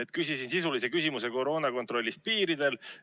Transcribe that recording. Ma küsisin sisulise küsimuse koroonakontrolli kohta piiril.